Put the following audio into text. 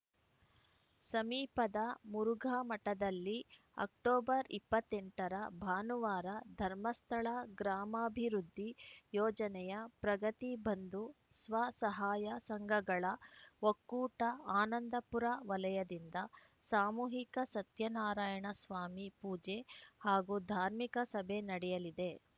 ಸಮೀಪದ ಮುರುಘಾಮಠದಲ್ಲಿ ಅಕ್ಟೋಬರ್ ಇಪ್ಪತ್ತ್ ಎಂಟ ರ ಭಾನುವಾರ ಧರ್ಮಸ್ಥಳ ಗ್ರಾಮಾಭಿವೃದ್ಧಿ ಯೋಜನೆಯ ಪ್ರಗತಿ ಬಂಧು ಸ್ವಸಹಾಯ ಸಂಘಗಳ ಒಕ್ಕೂಟ ಆನಂದಪುರ ವಲಯದಿಂದ ಸಾಮೂಹಿಕ ಸತ್ಯನಾರಾಯಣ ಸ್ವಾಮಿ ಪೂಜೆ ಹಾಗೂ ಧಾರ್ಮಿಕ ಸಭೆ ನಡೆಯಲಿದೆ